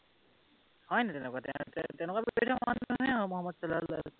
হয় নাই তেনেকুৱা?